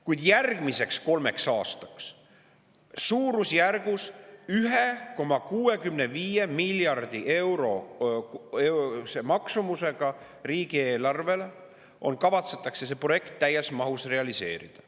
Kuid järgmiseks kolmeks aastaks suurusjärgus 1,65 miljardit eurot maksev projekt kavatsetakse täies mahus realiseerida.